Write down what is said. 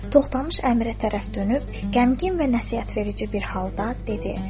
Toxtamış əmirə tərəf dönüb qəmgin və nəsihətverici bir halda dedi.